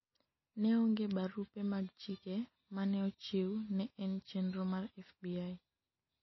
ne onge barupe mag chike mane ochiw, ne en chenro mar FBI